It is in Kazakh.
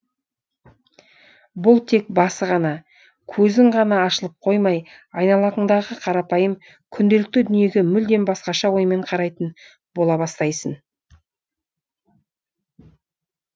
бұл тек басы ғана көзің ғана ашылып қоймай айналаңдағы қарапайым күнделікті дүниеге мүлдем басқаша оймен қарайтын бола бастайсың